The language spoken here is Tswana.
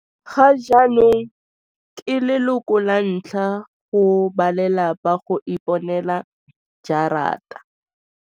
Gajaana ke leloko lantlha go balelapa go iponela gerata.